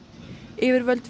yfirvöld